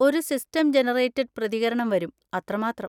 ഒരു system generated പ്രതികരണം വരും, അത്രമാത്രം.